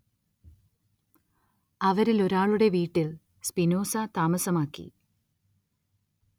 അവരിലൊരാളുടെ വീട്ടിൽ സ്പിനോസ താമസമാക്കി.